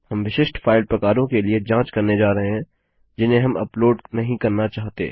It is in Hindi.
हम विशिष्ट फाइल प्रकारों के लिए जाँच करने जा रहे हैं जिन्हें हम अपलोड नहीं करना चाहते